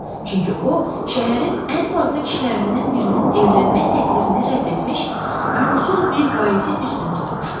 Çünki o, şəhərin ən varlı kişilərindən birinin evlənmək təklifini rədd etmiş, yoxsul bir vaizi üstün tutmuşdu.